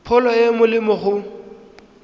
pholo e e molemo go